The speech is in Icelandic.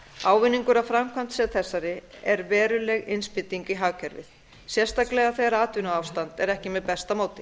ávinningur af framkvæmd sem þessari er veruleg innspýting í hagkerfið sérstaklega þegar atvinnuástand er ekki með besta móti